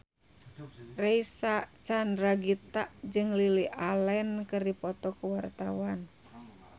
Reysa Chandragitta jeung Lily Allen keur dipoto ku wartawan